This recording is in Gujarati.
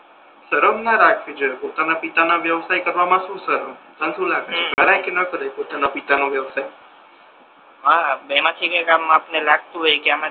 સરમ ના રાખવી જોઈએ પોતાના પિતાના વ્યવસાય કરવામા શુ સરમ હમ પોતના પિતા નો વ્યવસાય